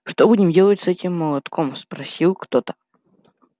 что будем делать с этим молотком спросил кто-то